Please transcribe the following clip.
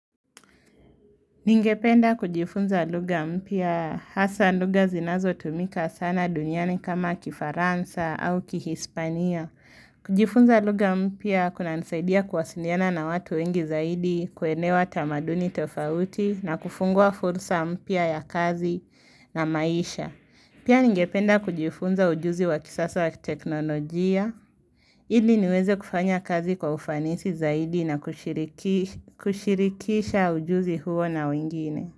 Ningependa kujifunza lugha mpya hasa luga zinazo tumika sana duniani kama kifaransa au kihispania. Kujifunza lugha mpya kunanisaidia kuwasiliana na watu wengi zaidi kuelewa tamaduni tofauti na kufungua fursa mpya ya kazi na maisha. Pia ningependa kujifunza ujuzi wa kisasa wa teknolojia. Ili niweze kufanya kazi kwa ufanisi zaidi na kushirikisha ujuzi huo na wengine.